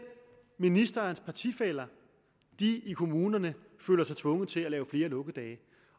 ministerens partifæller i kommunerne sig tvunget til at lave flere lukkedage